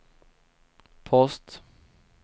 post